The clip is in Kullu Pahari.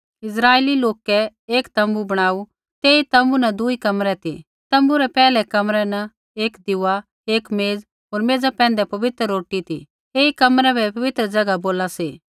इस्राइली लोकै एक तोम्बू बणाऊ तेई तोम्बू न दुई कमरै ती तोम्बू रै पैहलै कमरै न एक दीऊआ एक मेज़ होर मेज़ा पैंधै पवित्र रोटी ती ऐई कमरै बै पवित्र ज़ैगा बोला सी